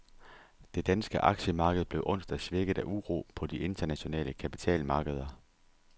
Det danske aktiemarked blev onsdag svækket af uro på de internationale kapitalmarkeder.